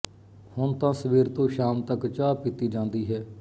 ਹੁਣ ਤਾਂ ਸਵੇਰ ਤੋਂ ਸ਼ਾਮ ਤੱਕ ਚਾਹ ਪੀਤੀ ਜਾਂਦੀ ਹੈ